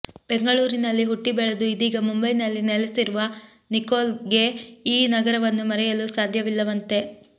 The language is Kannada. ಬೆಂಗಳೂರಿನಲ್ಲಿ ಹುಟ್ಟಿ ಬೆಳೆದು ಇದೀಗ ಮುಂಬೈನಲ್ಲಿ ನೆಲೆಸಿರುವ ನಿಕೋಲ್ಗೆ ಈ ನಗರವನ್ನು ಮರೆಯಲು ಸಾಧ್ಯವಿಲ್ಲವಂತೆ